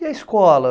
E a escola?